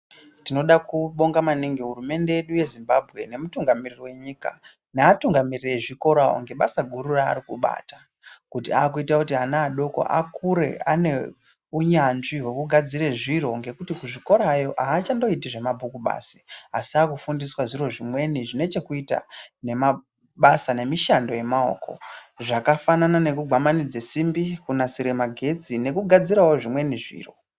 Tinoda kubhonga maningi hurumende yedu yeZimbabwe nemutungamiriri wenyika neatungamiriri ezvikora ngebasa guru raari kubata kuti akuita kuti ana adoko akure ane unyanzvi wekugadzira zviro ngekuti kuzvikorayo aachandoiti zvemabhuku basi, asi avakufundiswa zviro zvimweni zvine chekuita nemabasa nemishando yemaoko zvakafanana nekugwamanidze simbi kunasire magetsi nekugadzirewo zvimweni zviro.